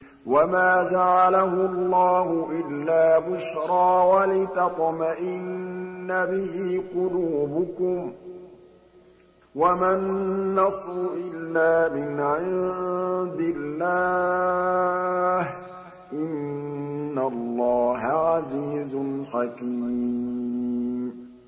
وَمَا جَعَلَهُ اللَّهُ إِلَّا بُشْرَىٰ وَلِتَطْمَئِنَّ بِهِ قُلُوبُكُمْ ۚ وَمَا النَّصْرُ إِلَّا مِنْ عِندِ اللَّهِ ۚ إِنَّ اللَّهَ عَزِيزٌ حَكِيمٌ